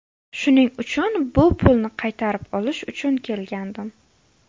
Shuning uchun bu pulni qaytarib olish uchun kelgandim.